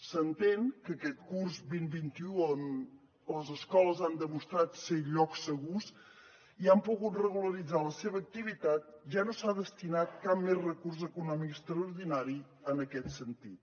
s’entén que aquest curs vint vint un on les escoles han demostrat ser llocs segurs i han pogut regularitzar la seva activitat ja no s’ha destinat cap més recurs econòmic extraordinari en aquest sentit